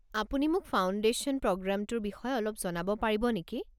আপুনি মোক ফাউণ্ডেশ্যন প্ৰগ্ৰামটোৰ বিষয়ে অলপ জনাব পাৰিব নেকি?